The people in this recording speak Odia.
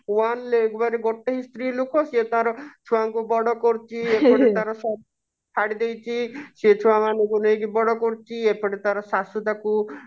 one ଏକବାରି ଗୋଟେ ହିଁ ସ୍ତ୍ରୀ ଲୋକ ସେ ତାର ଛୁଆଙ୍କୁ ବଡ କରୁଛି ସେ ହିଁ ତାର ସବୁ ଛାଡିଦେଇଛି ସେ ଛୁଆ ମାନଙ୍କୁ ନେଇକି ବଡ କରୁଛି ଏପଟେ ତାର ସାସୁ ତାକୁ